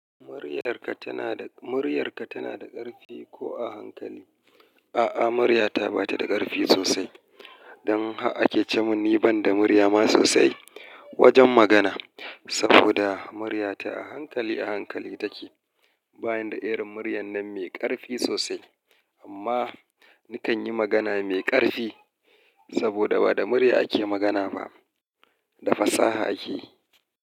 Muryarka tana da, muryarka tana da ƙarfi ko a hankali? A'a, muryata ba ta da ƙarfi sosai. Don har ake ce mini ban da murya ma sosai wajen magana. Saboda muryata a hankali a hankali take. Bayan da irin muryar nan mai ƙarfi sosai. Amma nikan yi magana mai ƙarfi saboda ba da murya ake magana ba, da fasaha ake.